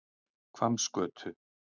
Hvammsgötu